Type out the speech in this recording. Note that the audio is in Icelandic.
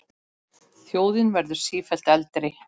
Þjóðin verður sífellt eldri.